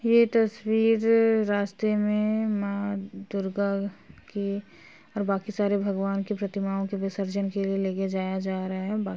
ये तस्वीर रास्ते में माँ दुर्गा के और बाकी सारे भगवान की प्रतिमाओं के विसर्जन के लिए लेके जाया जा रहा है। बा --